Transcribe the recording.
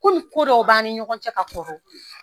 Komi ko dɔw b'an ni ɲɔgɔn cɛ ka kɔrɔ